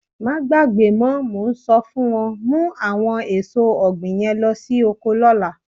Máa gbàgbé mọ, mo ń sọ fún ọ, mú àwọn èso ọ̀gbìn yẹn lo sí oko lọ́la.